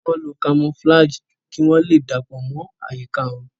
wón ló camouflage kí wón lè dapọ mọ àyíká wón.